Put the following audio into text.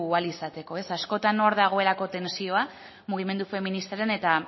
ahal izateko askotan hor dagoelako tentsioa mugimendu feministaren eta